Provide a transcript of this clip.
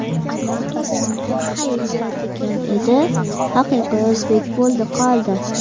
Armand Assante ‘hayyyaa’ degan edi, haqiqiy o‘zbek bo‘ldi qoldi.